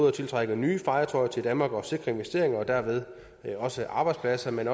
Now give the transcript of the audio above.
at tiltrække nye fartøjer til danmark og sikre investeringer og derved også arbejdspladser men